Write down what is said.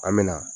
An me na